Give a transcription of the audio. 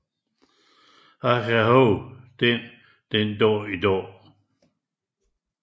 Jeg kan huske den den Dag i Dag